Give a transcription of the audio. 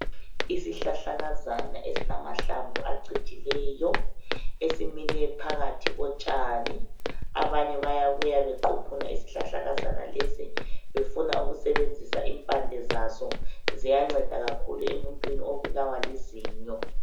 Isihlahlakana esilamahlamvu acijilele esimile phakathi kotshane, abanye bayabuya wequphuma isihlahlakazana lesi, befuna ukusebenzisa imphande zaso, ziyanceda kakhulu emuntwini obulawa lizinyo.